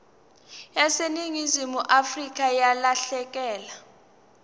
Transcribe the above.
yaseningizimu afrika yalahleka